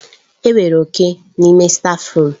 Enwere oke n'ime stáfruum.